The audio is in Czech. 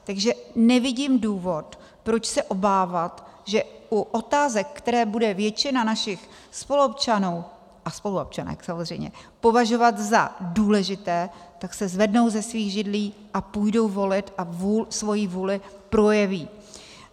Takže nevidím důvod, proč se obávat, že u otázek, které bude většina našich spoluobčanů a spoluobčanek samozřejmě považovat za důležité, tak se zvednou ze svých židlí a půjdou volit a svoji vůli projeví.